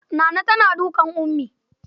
Naana tana dukan Ummi.